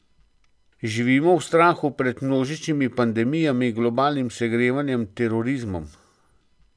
Živimo v strahu pred množičnimi pandemijami, globalnim segrevanjem, terorizmom.